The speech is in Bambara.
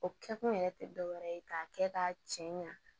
O kɛkun yɛrɛ tɛ dɔ wɛrɛ ye k'a kɛ k'a cɛ ɲa